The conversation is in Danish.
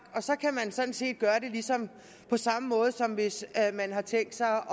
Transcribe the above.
og så kan man sådan set gøre det på samme måde som hvis man har tænkt sig